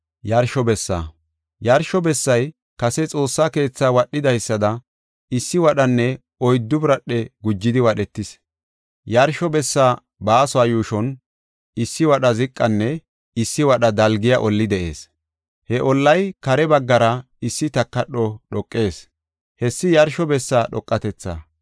Yarsho bessay kase Xoossa keethaa wadhidaysada, issi wadhanne oyddu biradhe gujidi wadhetis. Yarsho bessaa baasuwa yuushon issi wadha ziqanne issi wadha dalgiya olli de7ees; he ollay kare baggara issi takadho dhoqees; hessi yarsho bessa dhoqatethaa.